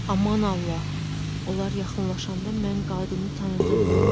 Aman Allah, onlar yaxınlaşanda mən qadını tanıdım.